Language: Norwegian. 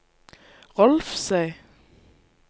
Rolvsøy